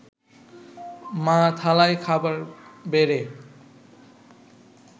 মা থালায় খাবার বেড়ে